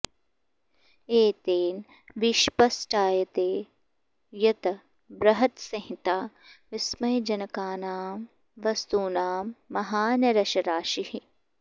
एतेन विस्पष्टायते यद् बृहत्संहिता विस्मयजनकानां वस्तूनां महान् रसराशिः